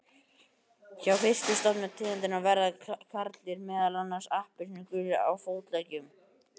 Hjá nyrstu stofnum tegundarinnar verða karldýrin meðal annars appelsínugul á fótleggjum.